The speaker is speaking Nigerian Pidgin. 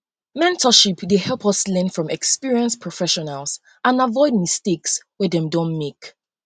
mentorship dey help us learn from experienced professionals and aviod mistakes wey dem don make